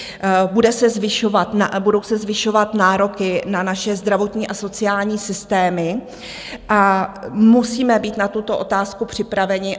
Budou se zvyšovat nároky na naše zdravotní a sociální systémy a musíme být na tuto otázku připraveni.